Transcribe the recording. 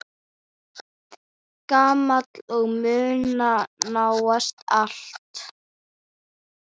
Gamall og muna nánast allt.